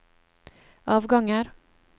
avganger